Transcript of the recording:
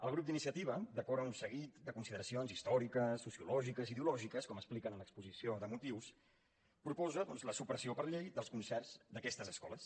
el grup d’iniciativa d’acord amb un seguit de consideracions històriques sociològiques i ideològiques com expliquen en l’exposició de motius proposa doncs la supressió per llei dels concerts d’aquestes escoles